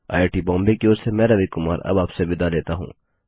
IIT Bombay की ओर से मैं रवि कुमार अब आपसे विदा लेता हूँ